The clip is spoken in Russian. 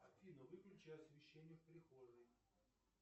афина выключи освещение в прихожей